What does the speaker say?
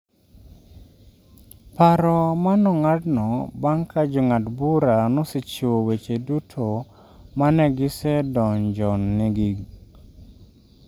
paro ma nong'adno bang' ka jong'ad bura nosechiwo weche duto ma ne gisendonjongi